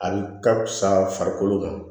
A ka fisa farikolo ma